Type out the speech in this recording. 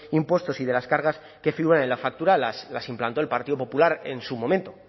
impuestos y de las cargas que figuran en la factura las implantó el partido popular en su momento